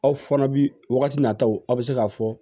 Aw fana bi wagati nataw a bɛ se k'a fɔ